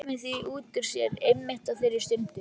Komið því út úr sér einmitt á þeirri stundu.